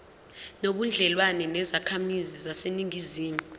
nobudlelwane nezakhamizi zaseningizimu